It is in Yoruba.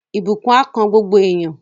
Ìbùkún á kan gbogbo èèyàn